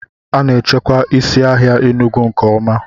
A na-echekwa isi ahịa Enugu nke ọma